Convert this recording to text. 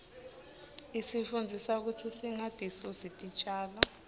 isifundzisa kutsi singatisusi titjalo